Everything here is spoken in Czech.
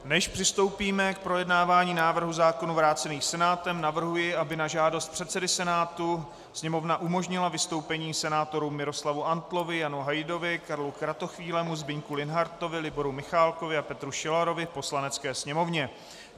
Než přistoupíme k projednávání návrhů zákonů vrácených Senátem, navrhuji, aby na žádost předsedy Senátu Sněmovna umožnila vystoupení senátorům Miroslavu Antlovi, Janu Hajdovi, Karlu Kratochvílemu, Zbyňku Linhartovi, Liboru Michálkovi a Petru Šilarovi v Poslanecké sněmovně.